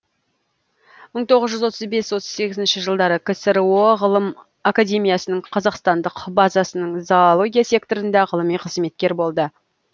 мың тоғыз жүз отыз бес отыз сегізінші жылдары ксро ғылым академиясының қазақстандық базасының зоология секторында ғылыми қызметкер болды